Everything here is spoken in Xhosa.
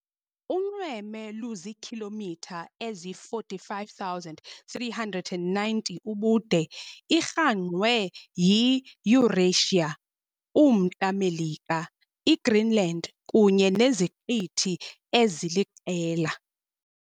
Unxweme luziikhilomitha eziyi45,390 ubude Irhangqwe yiEurasia, umNtla Melika, iGreenland, kunye neziqithi eziliqela.